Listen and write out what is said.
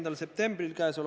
V a h e a e g